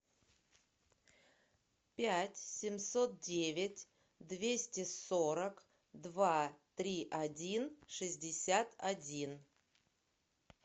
пять семьсот девять двести сорок два три один шестьдесят один